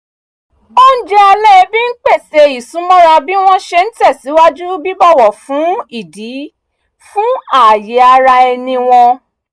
oúnjẹ alẹ́ ẹbí ń pèsè ìsúmọ́ra bí wọ́n ṣe ń tẹ̀síwájú bíbọ̀wọ̀ fún ìdí fún ààyè ara ẹni wọn